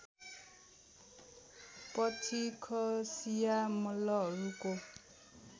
पछि खसिया मल्लहरूको